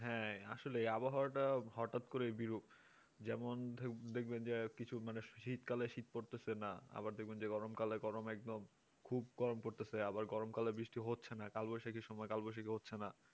হ্যাঁ আসলে আবহাওয়াটা হঠাৎ করে বিরুপ যেমন দেখবেন যে কিছু শীতকালে শীত পড়ছে না আবার গরমকালে দেখবেন যে খুব গরম পড়তেছে আবার গরম কালে বৃষ্টি হচ্ছে না কালবৈশাখীর সময় কালবৈশাখী হচ্ছে না